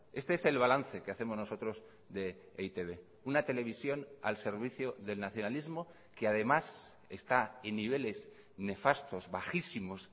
este es el balance que hacemos nosotros de e i te be una televisión al servicio del nacionalismo que además está en niveles nefastos bajísimos